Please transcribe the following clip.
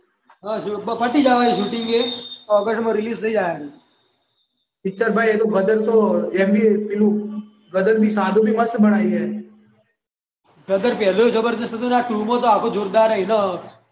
હ પતી જવા આયુ શૂટિંગ એ ઓગસ્ટમાં રિલીઝ થઈ જવાનું. પિક્ચર તો ગદર તો ગદર સાદુ બી મસ્ત બનાવ્યું. ગદર પહેલું ભી જબરજસ્ત હતું ને આ ટુ માં તો આખું જોરદાર છે.